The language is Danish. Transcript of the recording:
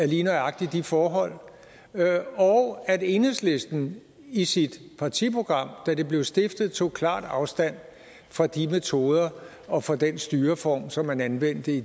lige nøjagtig de forhold og at enhedslisten i sit partiprogram da partiet blev stiftet tog klart afstand fra de metoder og for den styreform som man anvendte i